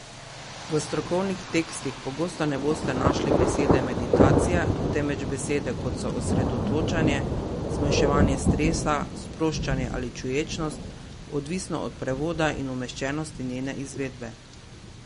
V strokovnih tekstih pogosto ne boste našli besede meditacija, temveč besede, kot so osredotočanje, zmanjševanje stresa, sproščanje ali čuječnost, odvisno od prevoda in umeščenosti njene izvedbe.